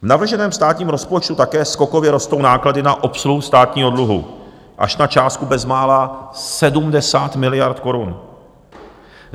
V navrženém státním rozpočtu také skokově rostou náklady na obsluhu státního dluhu až na částku bezmála 70 miliard korun.